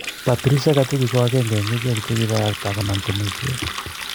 Patricia Gachuki ko aenge en ichhek che kipagta agonam Temisiet.